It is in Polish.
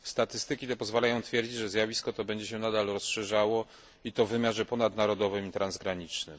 Statystyki te pozwalają twierdzić, że zjawisko to będzie się nadal rozszerzało, i to w wymiarze ponadnarodowym i transgranicznym.